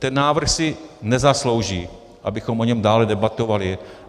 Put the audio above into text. Ten návrh si nezaslouží, abychom o něm dále debatovali.